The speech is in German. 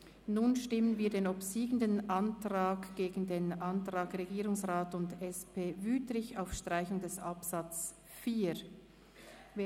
Nun stellen wir den obsiegenden Antrag SiK dem Antrag Regierungsrat und SP-JUSO-PSA (Wüthrich) auf Streichung von Absatz 4 gegenüber.